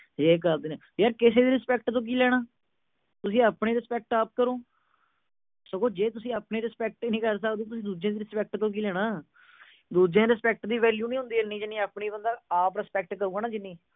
ਇਹ ਕਰਦੇ ਨੇ। ਯਾਰ ਕਿਸੀ ਦੀ respect ਤੋਂ ਕੀ ਲੈਣਾ। ਤੁਸੀਂ ਆਪਣੀ respect ਆਪ ਕਰੋ। ਸਗੋਂ ਜੇ ਤੁਸੀਂ ਆਪਣੀ respect ਹੀ ਨਹੀਂ ਕਰ ਸਕਦੇ, ਤੁਸੀਂ ਦੂਜੇ ਦੀ respect ਤੋਂ ਕੀ ਲੈਣਾ। ਦੂਜਿਆਂ ਦੀ respect ਦੀ value ਨਹੀਂ ਹੁੰਦੀ ਇੰਨੀ, ਜਿੰਨੀ ਆਪਣੀ ਆਪ respect ਕਰੂਗਾ ਨਾ ਜਿੰਨੀ।